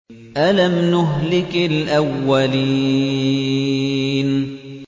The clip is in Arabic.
أَلَمْ نُهْلِكِ الْأَوَّلِينَ